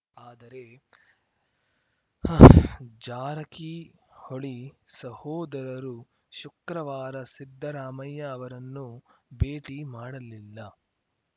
ಆದರೆ ಹಾಆಆಆಅ ಜಾರಕಿಹೊಳಿ ಸಹೋದರರು ಶುಕ್ರವಾರ ಸಿದ್ದರಾಮಯ್ಯ ಅವರನ್ನು ಭೇಟಿ ಮಾಡಲಿಲ್ಲ